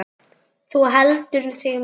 Þú heldur þig meiri.